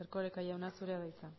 erkoreka jauna zurea da hitza